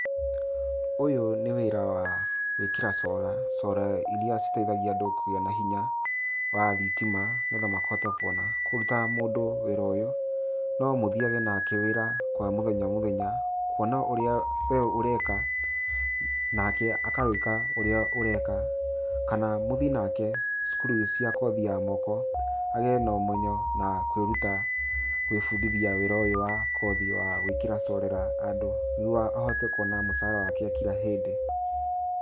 Ũyũ nĩ wĩra wa gwĩkĩra solar, solar iria citeithagia andũ kũgĩa na hinya wa thitima nĩgetha makahota kwona. Kũruta mũndũ wĩra ũyũ no mũthiage nake wira kwa mũthenya o mũthenya kwona ũrĩa we ũreka nake akawĩka ũrĩa ũreka kana mũthiĩ nake cukuru cia kothi ya moko agĩe na ũmenyo na kwĩruta gwĩbundithia wĩra ũyũ wa kothi wa gwĩkĩrĩra solar andũ nĩguo akahota kwona mũcara wake wa kila hĩndĩ.